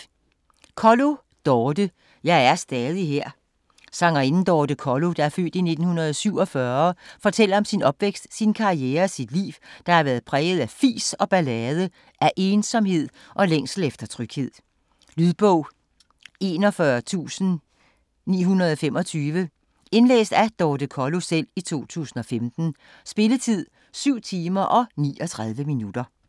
Kollo, Dorthe: Jeg er stadig her Sangerinden Dorthe Kollo (f. 1947) fortæller om sin opvækst, sin karriere og sit liv, der har været præget af fis og ballade - af ensomhed og længsel efter tryghed. Lydbog 41925 Indlæst af Dorthe Kollo, 2015. Spilletid: 7 timer, 39 minutter.